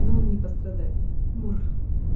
но он не пострадает мур